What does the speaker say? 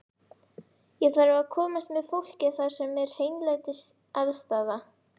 Ég þarf að komast með fólkið þar sem er hreinlætisaðstaða.